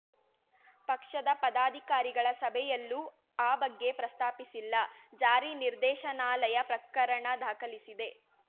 ಪಕ್ಷದ ಪದಾಧಿಕಾರಿಗಳ ಸಭೆಯಲ್ಲೂ ಆ ಬಗ್ಗೆ ಪ್ರಸ್ತಾಪಿಸಿಲ್ಲ ಜಾರಿ ನಿರ್ದೇಶನಾಲಯ ಪ್ರಕರಣ ದಾಖಲಿಸಿದೆ